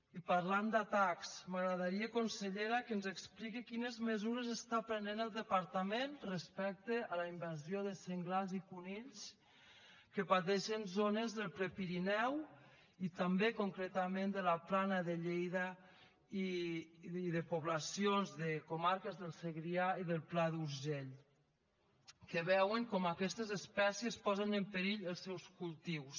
i parlant d’atacs m’agradaria consellera que ens expliqui quines mesures està prenent el departament respecte a la invasió de senglars i conills que pateixen zones del prepirineu i també concretament de la plana de lleida i de poblacions de comarques del segrià i del pla d’urgell que veuen com aquestes espècies posen en perill els seus cultius